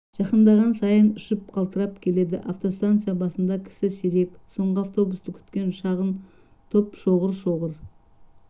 жақындаған сайын ұшып қалтырап келеді автостанция басында кісі сирек соңғы автобусты күткен шағын топ шоғыр-шоғыр